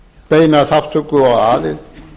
beina þátttöku og aðild